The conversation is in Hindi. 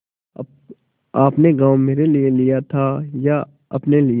आपने गॉँव मेरे लिये लिया था या अपने लिए